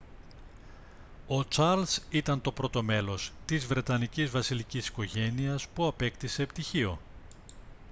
ο τσαρλς ήταν το πρώτο μέλος της βρετανικής βασιλικής οικογένειας που απέκτησε πτυχίο